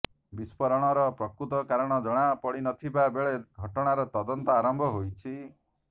ବିସ୍ଫୋରଣର ପ୍ରକୃତ କାରଣ ଜଣାପଡିନଥିବା ବେଳେ ଘଟଣାର ତଦନ୍ତ ଆରମ୍ଭ ହୋଇଛି